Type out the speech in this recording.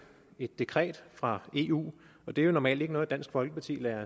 dekret fra eu og det er jo normalt ikke noget dansk folkeparti lader